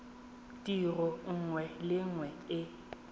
tiro nngwe le nngwe e